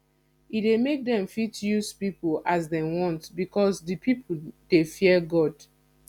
e de make dem fit use pipo as dem want because di pipo de fear god